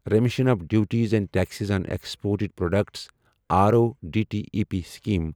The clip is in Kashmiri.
remission of duties and taxes on exported products RoDTEP scheme